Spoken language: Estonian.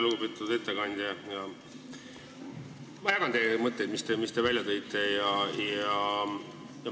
Lugupeetud ettekandja, ma jagan neid mõtteid, mis te välja tõite.